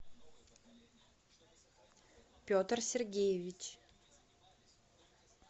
петр сергеевич